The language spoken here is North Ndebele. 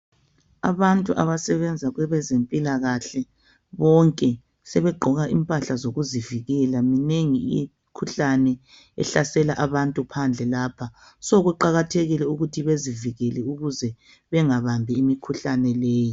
Abantu abasebenza kwezempilakahle bonke sebegqoka impahla zokuzivikela, minengi imikhuhlane ehlasela abantu phandle lapha kuqakathekile ukuthi abantu bezivikele ukuze bengabambi imikhuhlane leyi.